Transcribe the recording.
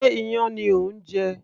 Sé iyán ni ò ń jẹ